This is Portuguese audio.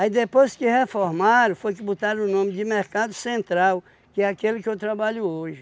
depois que reformaram, foi que botaram o nome de Mercado Central, que é aquele que eu trabalho hoje.